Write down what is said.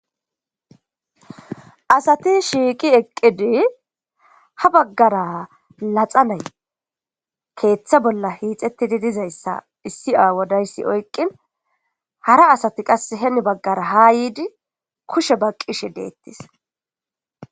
asati shiiqi eqqidi ha baggara laxa nay keeththa bolla hiixetidi dizayssa issi aawodayssi oyqqin hara asati qas heni baggara haa yiidi kushe baqqishe deettis